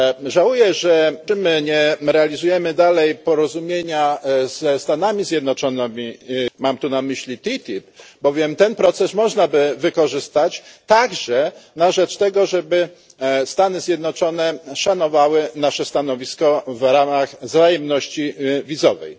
Żałuję, że nie realizujemy dalej porozumienia ze Stanami Zjednoczonymi, mam tu na myśli TTIP, bowiem ten proces można by wykorzystać także na rzecz tego, żeby Stany Zjednoczone szanowały nasze stanowisko w ramach wzajemności wizowej.